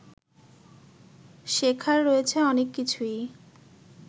শেখার রয়েছে অনেক কিছুই